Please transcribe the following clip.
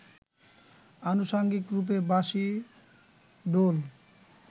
অনুষাঙ্গিক রূপে বাঁশি, ঢোল